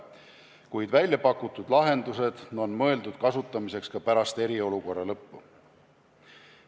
Kuid väljapakutud lahendused on mõeldud kasutamiseks ka pärast eriolukorra lõppu.